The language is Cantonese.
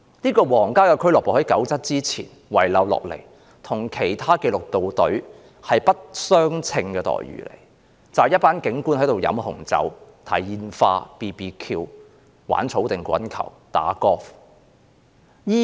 這個皇家俱樂部在1997年前遺留下來，與其他紀律部隊的待遇不相稱，容許警官在那裏喝紅酒、看煙花、燒烤、玩草地滾球和打高爾夫球。